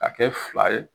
Ka kɛ fila ye